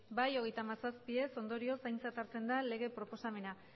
ez hogeita hamazazpi ondorioz aintzat hartzen da lege proposamena